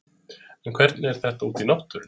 En hvernig er þetta úti í náttúrunni?